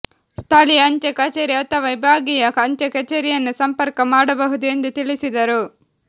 ಸ್ಥಳೀಯ ಅಂಚೆ ಕಚೇರಿ ಅಥವಾ ವಿಭಾಗೀಯ ಅಂಚೆ ಕಚೇರಿಯನ್ನು ಸಂಪರ್ಕ ಮಾಡಬಹುದು ಎಂದು ತಿಳಿಸಿದರು